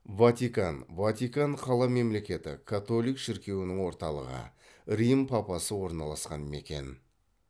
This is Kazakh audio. ватикан ватикан қала мемлекеті католик шіркеуінің орталығы рим папасы орналасқан мекен